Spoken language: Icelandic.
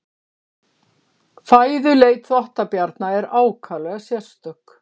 Fæðuleit þvottabjarna er ákaflega sérstök.